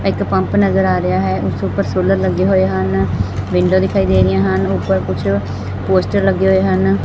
ਇੱਕ ਪੰਪ ਨਜ਼ਰ ਆ ਰਿਹਾ ਹੈ ਉਸ ਉੱਪਰ ਸੋਲਰ ਲੱਗੇ ਹੋਏ ਹਨ ਵਿੰਡੋ ਦਿਖਾਈ ਦੇ ਰਹੀਆਂ ਹਨ ਉੱਪਰ ਕੁਛ ਪੋਸਟਰ ਲੱਗੇ ਹੋਏ ਹਨ।